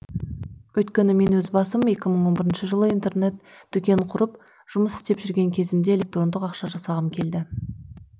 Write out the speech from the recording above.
өйткені мен өз басым екі мың он бірінші жылы интернет дүкен құрып жұмыс істеп жүрген кезімде электрондық ақша жасағым келді